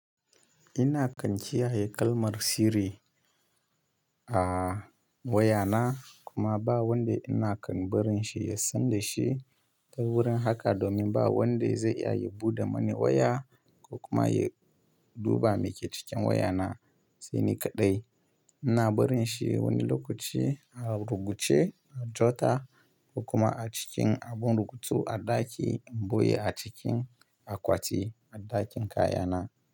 Ina kam kiyaye kalmar sirri a wayana kuma ba wanda ina kan barin shi ya san da shi. Ta wurin haka domin ba wanda zai iya buɗe mani waya ko kuma ya duba me ke cikin wayana. Sai ni kaɗai. Ina barin shi wani lokaci a ruguje, a jota kuma a cikin abun rubutu a ɗaki in buye a cikin akwati a ɗakin kayana.